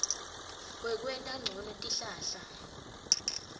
wekwenta ncono tihlahla